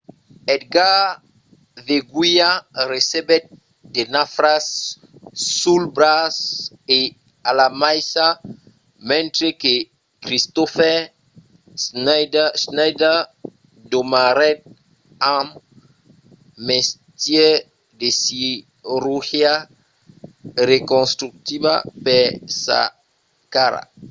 edgar veguilla recebèt de nafras sul braç e a la maissa mentre que kristoffer schneider demorèt amb mestièr de cirurgia reconstructiva per sa cara